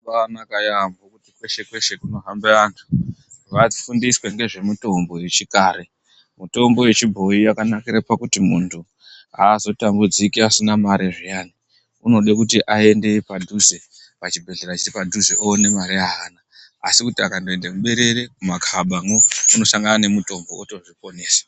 Mitombo yakanaka yaamho kweshe kweshe kunohambe anhu vafundiswe ngezvemitombo yechikare mitombo yechibhoyi yakankire pakuti kuti muntu azotambudziki asina mare zviya unode kuti aende padhuze, pachibhehleya chiri padhuze one mare yeana asikuti akandoende mumaberere mumakabamwo unohlangana nemutombo otozviponesa.